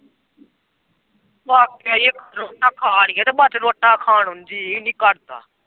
ਬਾਕਇ ਇੱਕ ਪਰੌਠਾ ਖਾ ਲਈਆਂ ਬਾਅਦ ਚ ਰੋਟਾਂ ਖਾਣ ਨੂੰ ਜੀਅ ਨੀ ਕਰਦਾ।